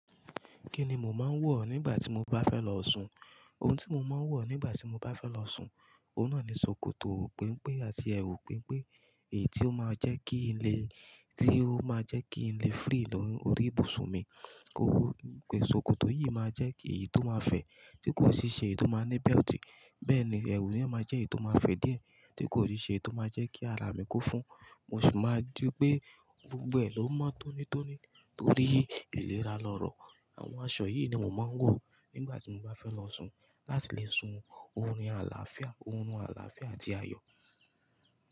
Kí ni mo máa ń wọ̀ nígbà tí mo bá fẹ́ lọ sun? Ohun tí mo máa ń wọ̀ nígbà tí mo bá fẹ́ lọ sun, òun náà ni ṣòkòtò penpen àti ẹwù penpen èyí tó máa jẹ́ kí ilé, tí ó máa jẹ́ kí ilé free lórí ibùsùn mi. Ṣòkòtò yìí máa jẹ́ èyí tó máa fẹ̀, tí kò sì ṣe èyí tó máa ní belt. Bẹ́ẹ̀ ni, ẹwù yen máa jẹ́ èyí tó máa fẹ̀ díẹ̀, tí kò nì ṣe èyí tó máa jẹ́ kí ara mi kó fún. Mo ṣi máa ri pé gbogbo ẹ̀ ló mon tónítóní torí ìlera lọ̀rọ̀. Àwọn aṣọ yìí ni mo máa ń wọ̀ nígbà tí mo bá fẹ́ lọ sun láti le sun orun àlàáfíà, orun àlàáfíà àti ayọ̀.